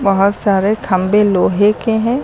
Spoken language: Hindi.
वहां सारे खंबे लोहे के हैं।